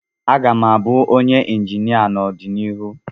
M ga-abụ onye injinia n'ọdịnihu.